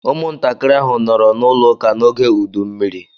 Ụmụntakịrị ahụ nọrọ n’ụlọ ụka n’oge ụdụ mmiri.